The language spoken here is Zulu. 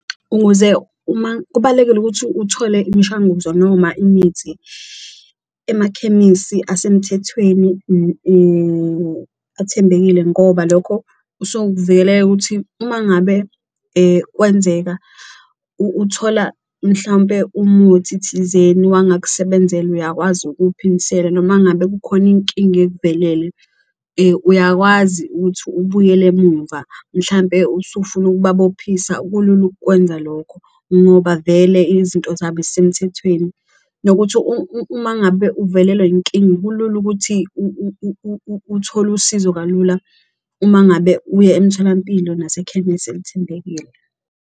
Ukuze uma kubalulekile ukuthi uthole imishanguzo noma imithi emakhemisi asemthethweni athembekile ngoba lokho ukuvikeleka ukuthi uma ngabe kwenzeka uthola mhlawumpe umuthi thizeni wangakusebenzela uyakwazi ukuwuphindisela. Noma ngabe kukhona inkinga ekuvelele uyakwazi ukuthi ubuyele emumva mhlampe usufuna ukubabophisa kulula ukukwenza lokho ngoba vele izinto zabo zisemthethweni. Nokuthi uma ngabe uvelelwa inkinga, kulula ukuthi uthole usizo kalula uma ngabe uya emtholampilo nasekhemesi elithembekile.